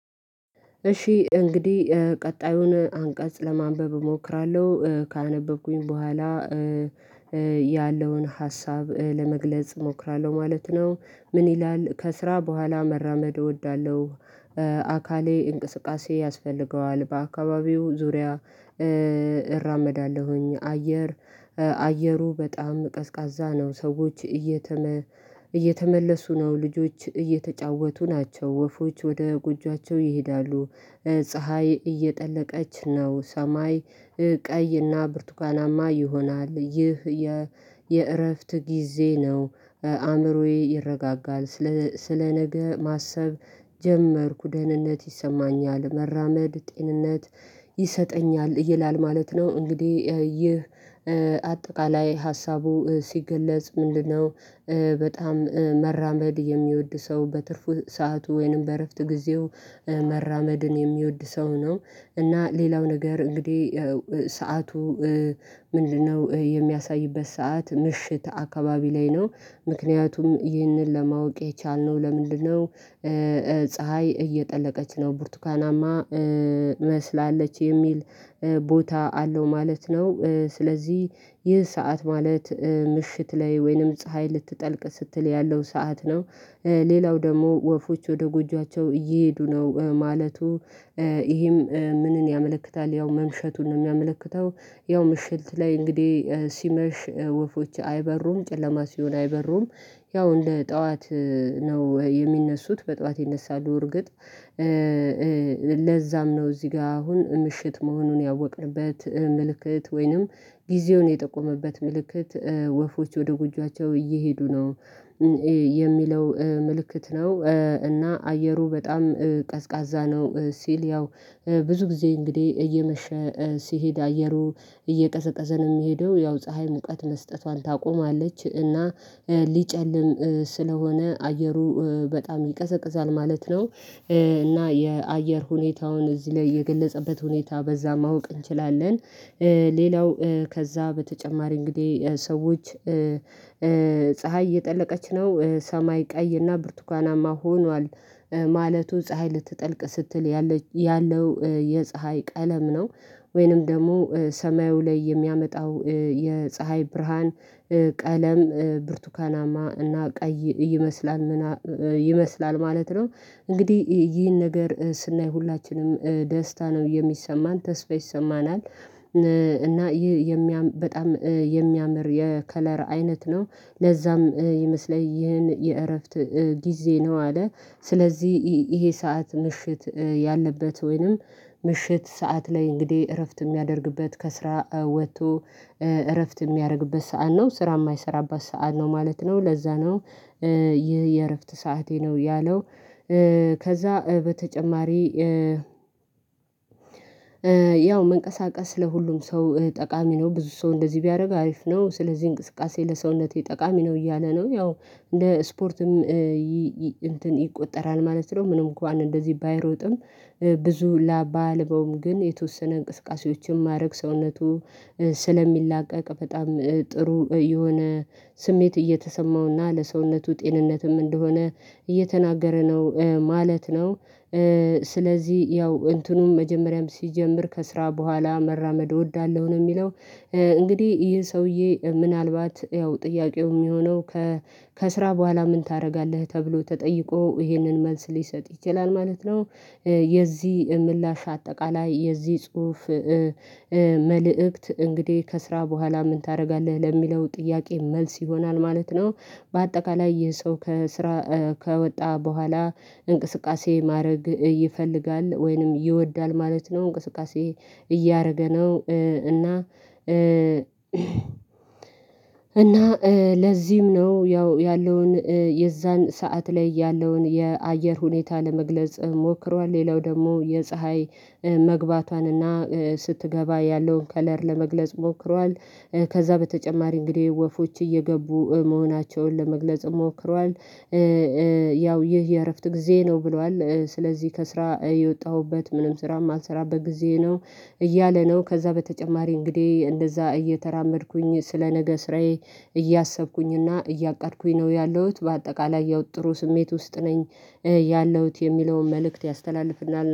እሺ እንግዲህ ቀጣዩን አንቀጽ ለማንበብ እሞክራለሁ። ካነበብኩኝ በኋላ- ያለውን ሀሳብ ለመግለጽ እሞክራለሁ ማለት ነው። ምን ይላል ከስራ በኋላ መራመድ እወዳለሁ- አካሌ እንቅስቃሴ ያስፈልገዋል። በአካባቢው ዙሪያ- እራመዳለሁኝ። አየር አየሩ በጣም ቀዝቃዛ ነው። ሰዎች እየተመ እየተመለሱ ነው። ልጆች እየተጫወቱ ናቸው። ወፎች ወደ ጎጆአቸው ይሄዳሉ። ፀሀይ እየጠለቀች ነው። ሰማይ ቀይና ብርቱካናማ ይሆናል። ይህ- የእረፍት ጊዜ ነው። አእምሮዬ ይረጋጋል። ስለ ስለ ነገ ማሰብ ጀመርኩ። ደህንነት ይሰማኛል። መራመድ ጤንነት ይሰጠኛል ይላል ማለት ነው። እንግዲህ ይህ አጠቃላይ ሀሳቡ ሲገለጽ ምንድነው። በጣም መራመድ የሚወድ ሰው በትርፉ ሰዓቱ ወይንም በእረፍት ጊዜው- መራመድን የሚወድ ሰው ነው። እና ሌላው ነገር እንግዲህ ሰዓቱ- ምንድነው የሚያሳይበት ሰዓት ምሽት አካባቢ ላይ ነው። ምክንያቱም ይህንን ለማወቅ የቻልነው ለምንድነው- ፀሀይ እየጠለቀች ነው። ቡርቱካናማ መስላለች የሚል ቦታ አለው ማለት ነው። ስለዚህ ይህ ሰዓት ማለት ምሽት ላይ ወይንም ፀሀይ ልትጠልቅ ስትል ያለው ሰዓት ነው። ሌላው ደግሞ ወፎች ወደ ጎጆአቸው እየሄዱ ነው ማለቱ- ይሄም ምንን ያመለክታል ያው መምሸቱን ነውየሚያመለክተው። ያው ምሽልት ላይ እንግዲህ ሲመሽ ወፎች አይበሩም። ጨለማ ሲሆን አይበሩም። ያው እንደ ጠዋት ነው የሚነሱት። በጧት ይነሳሉ እርግጥ- ለዛም ነው እዚህ ጋር አሁን ምሽት መሆኑን ያወቅንበት ምልክት። ወይንም ጊዜውን የጠቆመበት ምልክት ወፎች ወደ ጉጃቸው እየሄዱ ነው- የሚለው ምልክት ነው። እና አየሩ በጣም ቀዝቃዛ ነው ሲል ያው ብዙ ጊዜ እንግዲህ እየመሸ ሲሄድ አየሩ እየቀዘቀዘ ነው የሚሄደው ያው ፀሀይ ሙቀት መስጠቷን ታቆማለች። እና ሊጨልም ስለሆነ አየሩ በጣም ይቀዘቅዛል ማለት ነው። እና የአየር ሁኔታውን እዚህ ላይ የገለጸበት ሁኔታ በዛ ማወቅ እንችላለን። ሌላው ከዛ በተጨማሪ እንግዲህ ሰዎች- ፀሀይ እየጠለቀች ነው። ሰማይ ቀይና ብርቱካናማ ሆኗል ማለቱ ፀሀይ ልትጠልቅ ስትል ያለው የፀሀይ ቀለም ነው። ወይንም ደግሞ ሰማዩ ላይ የሚያመጣው የፀሀይ ብርሃን ቀለም ብርቱካናማ እና ቀይ- ይመስላል ማለት ነው። እንግዲህ ይህን ነገር ስናይ ሁላችንም ደስታ ነው የሚሰማን። ተስፋ ይሰማናል። እና ይህ የሚያምር በጣም የሚያምር የከለር አይነት ነው። ለዛም ይመስለኝ ይህን የእረፍት ጊዜ ነው። አለ ስለዚህ ይሄ ሰዓት ምሽት ያለበት ወይንም ምሽት ሰዓት ላይ እንግዲህ እረፍት የሚያደርግበት ከስራ ወጥቶ- እረፍት የሚያደርግበት ሰዓት ነው። ስራ የማይሰራበት ሰዓት ነው ማለት ነው። ለዛ ነው- ይህ የእረፍት ሰዓቴ ነው ያለው። ከዛ በተጨማሪ ያው መንቀሳቀስ ለሁሉም ሰው ጠቃሚ ነው። ብዙ ሰው እንደዚህ ቢያደርግ አሪፍ ነው። ስለዚህ እንቅስቃሴ ለሰውነቴ ጠቃሚ ነው እያለ ነው። ያው ለስፖርትም- ይቆጠራል ማለት ነው። ምንም እንኳን እንደዚህ ባይሮጥም- ብዙ ላብ ባያልበውም ግን የተወሰነ እንቅስቃሴዎችን ማድረግ ሰውነቱ ስለሚላቀቅ በጣም ጥሩ የሆነ ስሜት እየተሰማውና ለሰውነቱ ጤንነትም እንደሆነ እየተናገረ ነው ማለት ነው። ስለዚህ ያው እንትኑም መጀመሪያም ሲጀምር ከስራ በኋላ መራመድ እወዳለሁ ነው የሚለው። እንግዲህ ይህ ሰውዬ ምናልባት ያው ጥያቄው የሚሆነው- ከስራ በኋላ ምን ታደርጋለህ ተብሎ ተጠይቆ ይሄንን መልስ ሊሰጥ ይችላል ማለት ነው። የዚህ ምላሽ አጠቃላይ የዚህ ጽሁፍ- መልእክት እንግዲህ ከስራ በኋላ ምን ታደርጋለህ ለሚለው ጥያቄ መልስ ይሆናል ማለት ነው። በአጠቃላይ የሰው ከስራ ከወጣ በኋላ እንቅስቃሴ ማድረግ ይፈልጋል ወይንም ይወዳል ማለት ነው። እንቅስቃሴ- እያደረገ ነው :እና እና- ለዚህም ነው ያው ያለውን የዛን ሰዓት ላይ ያለውን የአየር ሁኔታ ለመግለጽ ሞክሯል። ሌላው ደግሞ የፀሀይ መግባቷንና ስትገባ ያለውን ከለር ለመግለጽ ሞክሯል። ከዛ በተጨማሪ እንግዲህ ወፎች እየገቡ መሆናቸውን ለመግለጽ ሞክሯል። ያው ይህ የእረፍት ጊዜ ነው ብሏል። ስለዚህ ከስራ የወጣሁበት ምንም ስራ የማንሰራበት ጊዜ ነው እያለ ነው። ከዛ በተጨማሪ እንግዲህ እንደዛ እየተራመድኩኝ ስለ ነገ ስራዬ እያሰብኩኝና እያቃድኩኝ ነው ያለሁት በአጠቃላይ ያወጥኩት ስሜት ውስጥ ነኝ። ያለሁት የሚለውን መልእክት ያስተላልፍልናል።